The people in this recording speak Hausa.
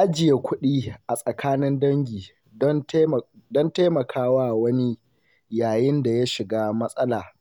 Ajiye kuɗi a tsakanin dangi don taimaka wa wani yayin da ya shiga matsala